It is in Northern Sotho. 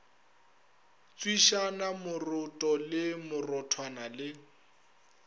tswišana moroto le morothwana le